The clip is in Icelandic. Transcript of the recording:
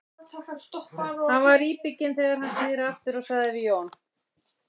Hann var íbygginn þegar hann sneri aftur og sagði við Jón